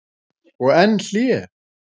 Og enn hlé.